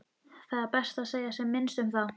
Það er best að segja sem minnst um það.